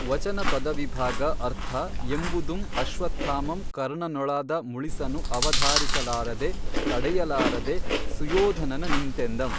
ವಚನ ಪದವಿಭಾಗ ಅರ್ಥ ಎಂಬುದುಂ ಅಶ್ವತ್ಥಾಮಂ ಕರ್ಣನೊಳಾದ ಮುಳಿಸನು ಅವಧಾರಿಸಲಾಱದೆ ತಡೆಯಲಾರದೆ ಸುಯೋಧನನ ನಿಂತೆಂದಂ